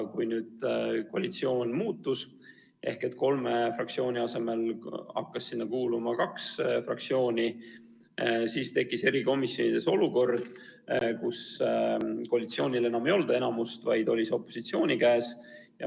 Kui nüüd koalitsioon muutus ehk kolme fraktsiooni asemel hakkas sinna kuuluma kaks fraktsiooni, siis tekkis erikomisjonides olukord, kus koalitsioonil enam ei olnud enamust, vaid see oli opositsiooni käes.